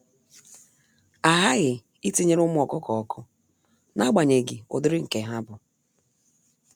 Ahaghị itinyere ụmụ ọkụkọ ọkụ, naagbanyeghi ụdịrị nke ha bụ.